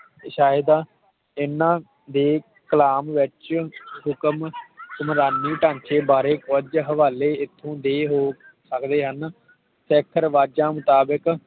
ਸ਼ਾਇਦ ਇਹਨਾਂ ਦੇ ਕਲਾਮ ਵਿਚ ਹੁਕਮ ਸੁਮਰਾਨੀ ਢਾਂਚੇ ਬਾਰੇ ਕੁਛ ਹਵਾਲੇ ਇਥੋਂ ਦੇ ਰੋਕ ਸਕਦੇ ਹਨ ਸਿੱਖ ਰਿਵਾਜ਼ਾਂ ਮੁਤਾਬਿਕ